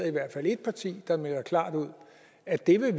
i hvert fald et parti der melder klart ud at de vil